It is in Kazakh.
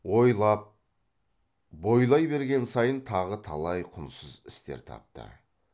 ойлап бойлай берген сайын тағы талай құнсыз істер тапты